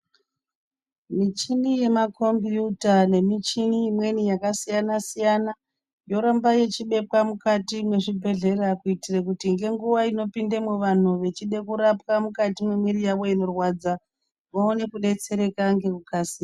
Michini yemakombiyuta nemichini imweni yakasiyana siyana, yoramba yechibekwa mukati mwezvibhedhlera, kuitire kuti ngenguva inopindemwo vanhu vechide kurapwa mumati mwemwiri yawo vaone kudetsereka ngekukasika.